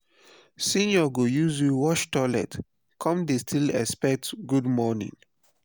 senior go use you wash toilet come dey still expect good morning